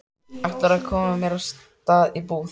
Ætlarðu að koma þér af stað út í búð?